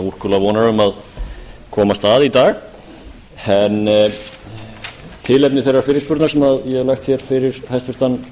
úrkula vonar um að komast að í dag tilefni þeirrar fyrirspurnar sem ég hef lagt fyrir hæstvirtan